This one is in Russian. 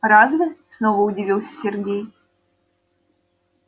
разве снова удивился сергей